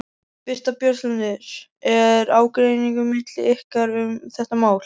Birta Björnsdóttir: Er ágreiningur milli ykkar um þetta mál?